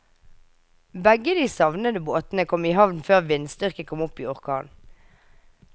Begge de savnede båtene kom i havn før vindstyrken kom opp i orkan.